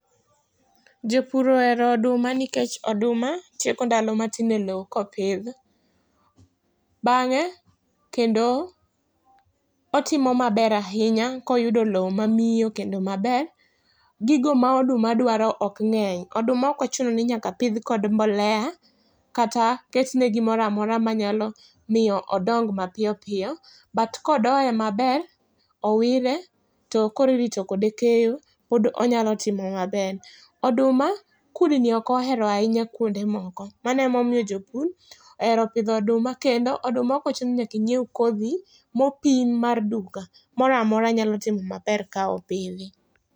Jopur ohero oduma nikech oduma tieko ndalo matin e loo ka opidhi ,bang'e kendo otimo maber ahinya ka oyudo loo ma miyo kendo maber. gigo ma oduma dwaro ok ng'eny oduma ok ochuno ni nyaka opidh gi mbolea kata ketne gi moro amora ma nya miyo odong mapiyo piyo, but ka odoye maber, owire, to koro irito kode keyo to koro onya timo maber. Oduma kudni ok ohero ahinya kuonde moko mano ema omiyo jopur ohera oduma ahinya kendo oduma ok ni nyaka inyiew kodhi ma opim mar duka, moro amora nyalo timo maber ka opidh.